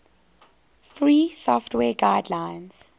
free software guidelines